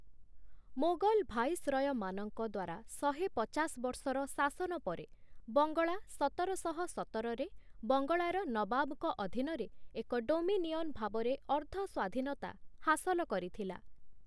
ମୋଗଲ ଭାଇସରୟମାନଙ୍କ ଦ୍ୱାରା ଶହେ ପଚାଶ ବର୍ଷର ଶାସନ ପରେ ବଙ୍ଗଳା ସତର ଶହ ସତରରେ ବଙ୍ଗଳାର ନବାବଙ୍କ ଅଧୀନରେ ଏକ ଡୋମିନିଅନ୍ ଭାବରେ ଅର୍ଦ୍ଧ ସ୍ୱାଧୀନତା ହାସଲ କରିଥିଲା ।